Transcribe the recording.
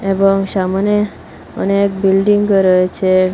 এবং সামনে অনেক বিল্ডিংও রয়েছে।